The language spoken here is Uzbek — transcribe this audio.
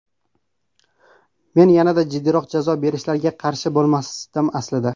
Men yanada jiddiyroq jazo berishlariga ham qarshi bo‘lmasdim, aslida.